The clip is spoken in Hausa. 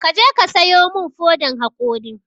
Kaje ka sayo mun fodan haƙori